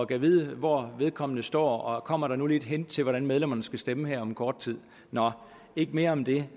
gad vide hvor vedkommende står og kommer der nu et hint til hvordan medlemmerne skal stemme her om kort tid nå ikke mere om det